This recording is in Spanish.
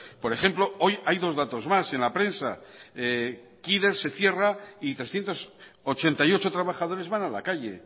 por ejemplo hoy hay dos datos más en la prensa kider se cierra y trescientos ochenta y ocho trabajadores van a la calle